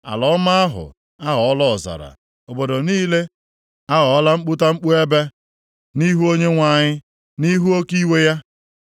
Ala ọma ahụ aghọọla ọzara, obodo niile aghọọla mkputamkpu ebe nʼihu Onyenwe anyị, nʼihu oke iwe ya.